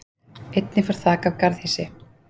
Einnig fór þak af garðhýsi